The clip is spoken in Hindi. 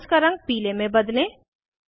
सारे बॉन्ड्स का रंग पीले में बदलें